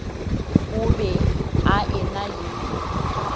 o be a ena le